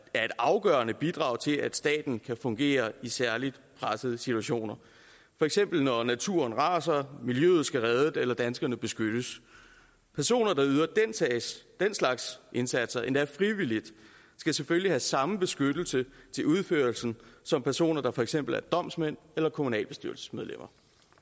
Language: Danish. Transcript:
afgørende bidrag til at staten kan fungere i særlig pressede situationer for eksempel når naturen raser miljøet skal reddes eller danskerne beskyttes personer der yder den slags indsatser endda frivilligt skal selvfølgelig have samme beskyttelse til udførelsen som personer der for eksempel er domsmænd eller kommunalbestyrelsesmedlemmer